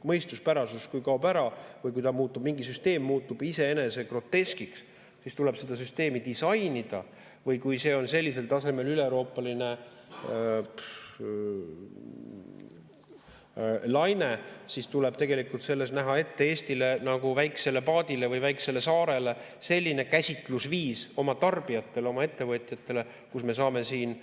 Kui mõistuspärasus kaob ära või kui mingi süsteem muutub iseenese groteskiks, siis tuleb seda süsteemi disainida, või kui see on sellisel tasemel üleeuroopaline laine, siis tuleb selles näha ette Eestile nagu väikesele paadile või väikesele saarele selline käsitlusviis oma tarbijatele, oma ettevõtjatele, et me saame siin